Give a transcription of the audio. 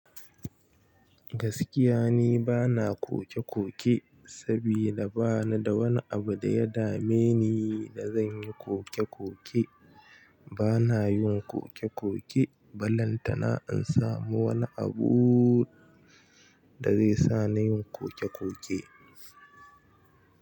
Gaskiya ni bana koke-koke, sabida bana da wani abu da ya dame ni da zai yi min koke-koke. Bana yin koke-koke, balle tana in samu wani abu da zai sa ni yin koke-koke.